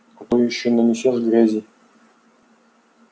а то ещё нанесёшь грязи